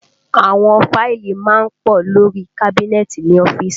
Àwọn fáìlì má ń pọ̀ lórí i kábínẹ́ẹ̀tì ní ọ́fíìsì